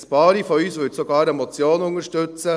Ein paar von uns würden sogar eine Motion unterstützen.